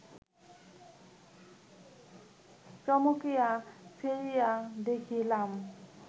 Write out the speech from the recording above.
চমকিয়া ফিরিয়া দেখিলাম